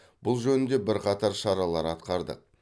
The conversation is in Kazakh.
бұл жөнінде бірқатар шаралар атқардық